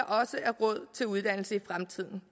også er råd til uddannelse i fremtiden